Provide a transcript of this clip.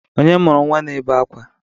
Onye mụrụ nwa na-ebe akwa?